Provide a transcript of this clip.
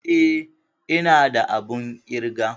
Eh ina da abun ƙirga.